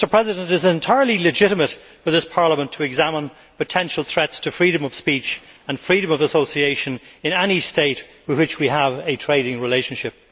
It is entirely legitimate for this Parliament to examine potential threats to freedom of speech and freedom of association in any state with which we have a trading relationship.